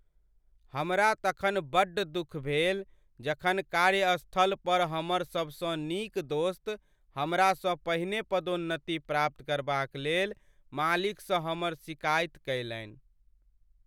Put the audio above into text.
हमरा तखन बड्ड दुख भेल जखन कार्यस्थल पर हमर सबसँ नीक दोस्त हमरासँ पहिने पदोन्नति प्राप्त करबाक लेल मालिकसँ हमर सिकाइति कयलनि।